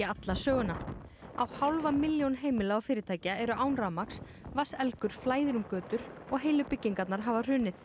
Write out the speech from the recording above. alla söguna á hálfa milljón heimila og fyrirtækja eru án rafmagns flæðir um götur og heilu byggingarnar hafa hrunið